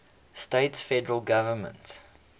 states federal government